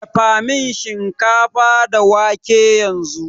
Dafamin shinkafa da wake yanzu